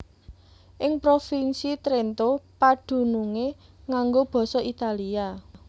Ing Provinsi Trento padunungé nganggo basa Italia